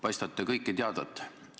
Paistate kõike teadvat.